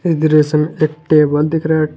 दृश्य में एक टेबल दिख रहा--